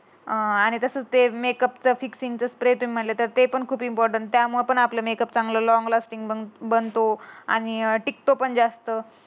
अं आणि तसं ते मेकअप साठी क्रीम तुम्ही म्हणलं. ते पण खूप इम्पॉर्टंट त्यामध्ये पण आपला मेकअप चांगला लॉंग लास्टीक पण बन बनतो. आणि अं टिकतो पण जास्त